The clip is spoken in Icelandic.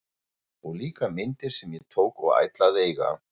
Og líka myndir sem ég tók og ætla að eiga!